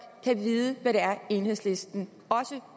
kan vide hvad det er enhedslisten også